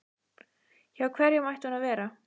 Hjá hverjum ætti hún að vera?